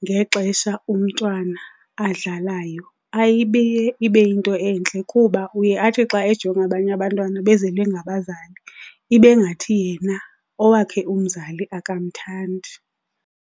ngexesha umntwana adlalayo ayibi ibe yinto entle kuba uye atsho xa ejonga abanye abantwana bezelwe ngabazali, ibe ngathi yena owakhe umzali akamthandi.